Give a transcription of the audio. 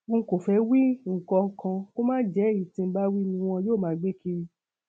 n kò fẹ wí nǹkan kan kó má jẹ èyí tí ǹ bá wí ni wọn yóò máa gbé kiri